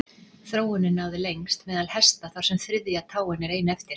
þróunin náði lengst meðal hesta þar sem þriðja táin er ein eftir